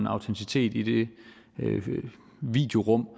autenticitet i det videorum